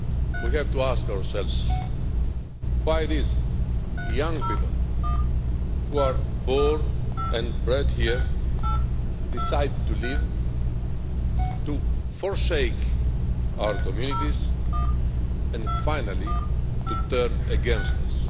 We have to ask ourselves why these young people, who are born and bred here, decide to leave, to forsake our communities and, finally, to turn against us.